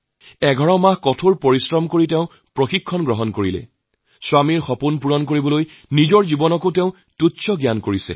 ১১ মাহ ধৰে কঠোৰ পৰিশ্ৰম কৰি প্ৰশিক্ষণ লয় আৰু নিজৰ স্বামীৰ সপোনা কৰিবলৈ নিজৰ জীৱন ত্যাগ কৰে